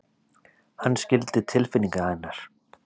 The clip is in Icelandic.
Hann skildi tilfinningar hennar.